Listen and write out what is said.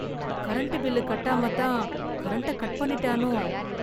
current bill கட்டாமல் தான் current cut பண்ணிட்டானோ